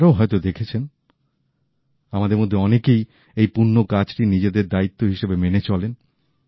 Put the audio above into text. আপনারাও হয়তো দেখেছেন আমাদের মধ্যে অনেকেই এই পূণ্য কাজকে নিজেদের দায়িত্ব হিসেবে মেনে চলেন